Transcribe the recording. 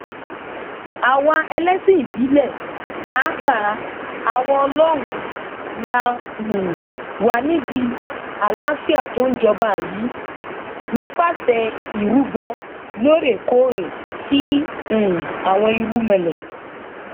àwa ẹlẹsìn ìbílẹ pàápàá àwa ọlọrun la um wà nídìí àlàáfíà tó ń jọba yìí nípasẹ ìrúbọ lóòrèkóòrè sí um àwọn irúnmọlẹ